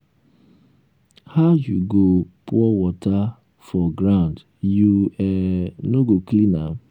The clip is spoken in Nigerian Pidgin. um how you go pour water um for ground you um no go clean am?